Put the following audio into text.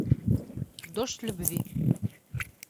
дождь любви